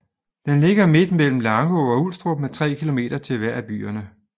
Den ligger midt mellem Langå og Ulstrup med 3 kilometer til hver af byerne